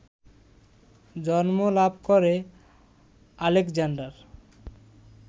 জন্ম লাভ করে আলেকজান্ডার